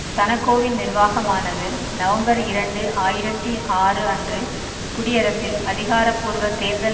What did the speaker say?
சனகோவின் நிர்வாகமானது நவம்பர் இரண்டு ஆயிரத்தி ஆறு அன்று குடியரசில் அதிகாரபூர்வ தேர்தல்